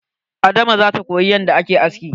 Ada ma zata koyi yanda ake aski.